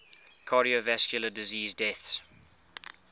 cardiovascular disease deaths